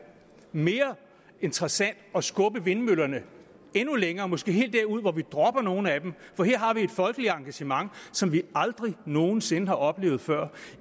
mere interessant at skubbe vindmøllerne endnu længere måske helt derud hvor vi dropper nogle af dem for her har vi et folkeligt engagement som vi aldrig nogen sinde har oplevet før